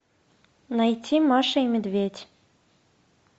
найти маша и медведь